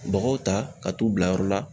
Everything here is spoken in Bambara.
Bɔgɔw ta ka t'u bila yɔrɔ la